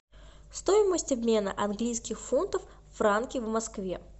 стоимость обмена английских фунтов франки в москве